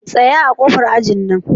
Tsaya a ƙofar ajin can.